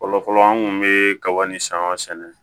Fɔlɔfɔlɔ an kun be kaba ni san sɛnɛ